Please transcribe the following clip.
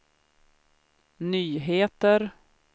nyheter